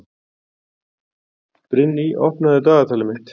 Brynný, opnaðu dagatalið mitt.